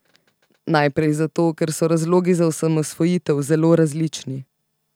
Najprej zato, ker so razlogi za osamosvojitev zelo različni.